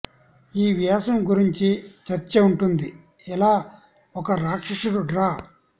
ఈ వ్యాసం గురించి చర్చ ఉంటుంది ఎలా ఒక రాక్షసుడు డ్రా